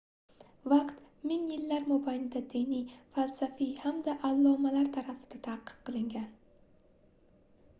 vaqt ming yillar mobayida diniy falsafiy hamda allomalar tarafidan tadqiq qilingan